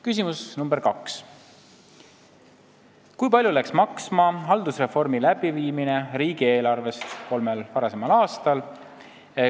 Küsimus nr 2: "Kui palju läks maksma haldusreformi läbiviimine riigieelarvest ?